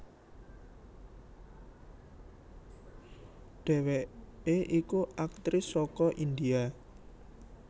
Dheweke iku aktris saka India